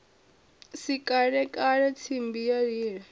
si kalekale tsimbi ya lila